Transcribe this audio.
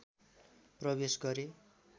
प्रवेश गरे